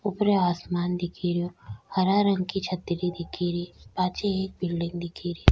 ऊपर आसमान दिखे रियो हरा रंग की छतरी दिखे री पाछे एक बिलडिंग दिखे री।